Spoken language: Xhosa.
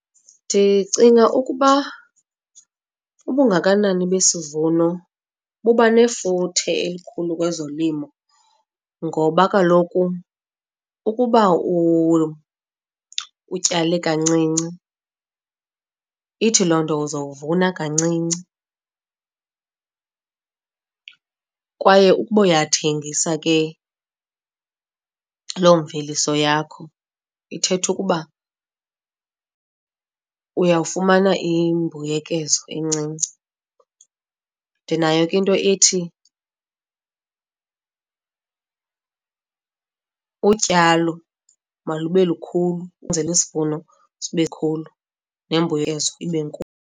Ndicinga ukuba ubungakanani besivuno buba nefuthe elikhulu kwezolimo ngoba kaloku ukuba utyale kancinci, ithi loo nto uzowuvuna kancinci. Kwaye ukuba uyathengisa ke loo mveliso yakho ithetha ukuba uyawufumana imbuyekezo encinci. Ndinayo ke into ethi utyalo malube lukhulu kwenzele isivuno sibe khulu nembuyekezo ibe nkulu.